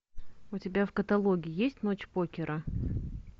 у тебя в каталоге есть ночь покера